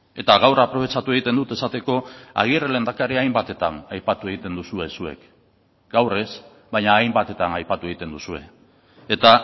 eta gaur aprobetxatu egiten dut esateko agirre lehendakaria hainbatetan aipatu egiten duzue zuek gaur ez baina hainbatetan aipatu egiten duzue eta